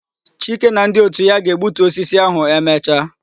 Chike na ndi otu ya ga-egbutu ukwu osisi ahu emecha